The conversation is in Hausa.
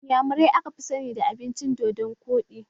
Inyamurai aka fi sani da miyan dodonkoɗi